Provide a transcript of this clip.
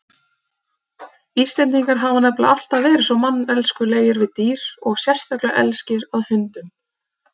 Íslendingar hafa nefnilega alltaf verið svo manneskjulegir við dýr og sérlega elskir að hundum.